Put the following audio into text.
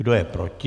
Kdo je proti?